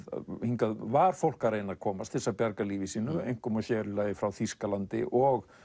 hingað var fólk að reyna að komast til að bjarga lífi sínu einkum og sérílagi frá Þýskalandi og